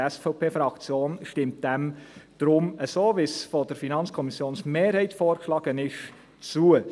Die SVP-Fraktion stimmt dieser deshalb, so wie sie von der FiKo-Mehrheit vorgeschlagen wird, zu.